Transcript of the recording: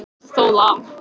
En hver vill snúa við?